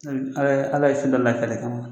Ala Ala ye fɛn dɔ la kɛlɛ kama